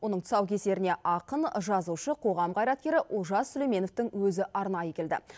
оның тұсаукесеріне ақын жазушы қоғам қайраткері олжас сүлейменовтың өзі арнайы келді